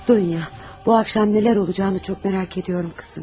Dunya, bu axşam nələr olacağını çox maraq edirəm, qızım.